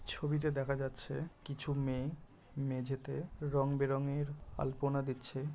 ছবিতে দেখা যাচ্ছে কিছু মেয়ে মেঝেতে রঙ বেরঙের আলপনা দিচ্ছে।